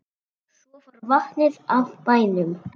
Svo fór vatnið af bænum.